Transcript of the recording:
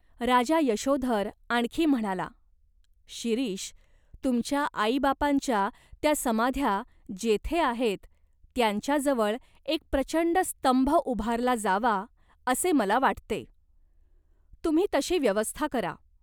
राजा यशोधर आणखी म्हणाला, "शिरीष, तुमच्या आईबापांच्या त्या समाध्या जेथे आहेत त्यांच्याजवळ एक प्रचंड स्तंभ उभारला जावा असे मला वाटते. तुम्ही तशी व्यवस्था करा.